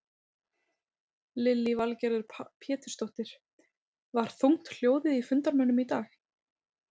Lillý Valgerður Pétursdóttir: Var þungt hljóðið í fundarmönnum í dag?